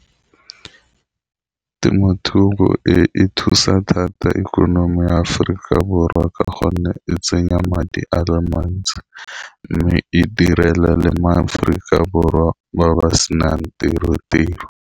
Temothuo e e thusa thata ikonomi ya Aforika Borwa ka gonne e tsenya madi ale mantsi mme e direle le ma Aforika Borwa ba ba senang tiro-tiro.